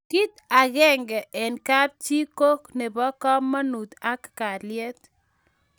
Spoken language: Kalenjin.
kit akenge eng' kap chi ko nebo kamangut ak kaliet